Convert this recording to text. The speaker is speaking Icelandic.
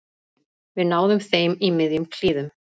Við náðum þeim í miðjum klíðum